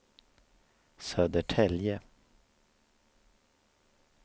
Södertälje